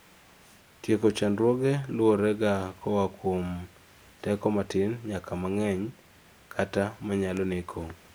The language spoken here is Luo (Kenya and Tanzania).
teko chandruoge luworega koa kuom teko matin nyaka mang'eny, kata manyalo neko